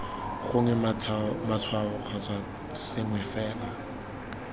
gongwe matshwao kgotsa sengwe fela